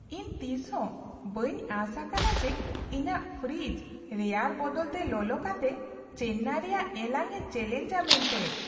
ᱤᱧ ᱛᱤᱥᱦᱚᱸ ᱵᱟᱹᱧ ᱟᱸᱥ ᱟᱠᱟᱱᱟ ᱡᱮ ᱤᱧᱟᱹᱜ ᱯᱷᱨᱤᱡᱽ ᱨᱮᱭᱟᱲ ᱵᱚᱫᱚᱞᱛᱮ ᱞᱚᱞᱚ ᱠᱟᱛᱮ ᱪᱮᱱᱱᱟᱭ ᱨᱮᱭᱟᱜ ᱮᱞᱟᱝ ᱮ ᱪᱮᱹᱞᱮᱧᱡᱽᱼᱟ ᱢᱮᱱᱛᱮ ᱾